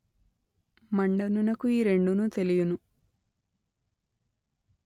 మండనునకు ఈ రెండును తెలియును